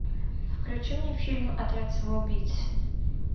включи мне фильм отряд самоубийц